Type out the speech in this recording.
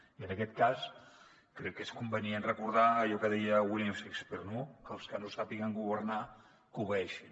i en aquest cas crec que és convenient recordar allò que deia william shakespeare que els que no sàpiguen governar que obeeixin